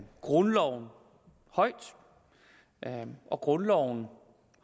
grundloven højt og grundloven